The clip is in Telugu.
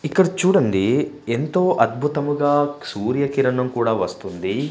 ఇక్కడ చూడండి ఎంతో అద్భుతముగా సూర్య కిరణం కూడా వస్తుంది.